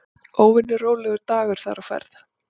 Óvenju rólegur dagur þar á ferð.